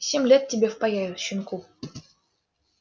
семь лет тебе впаяют щенку